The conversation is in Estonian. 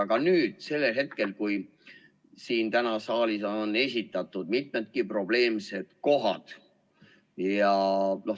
Aga täna on siin saalis välja toodud mitugi probleemset kohta.